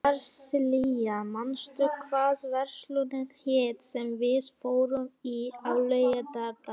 Marsilía, manstu hvað verslunin hét sem við fórum í á laugardaginn?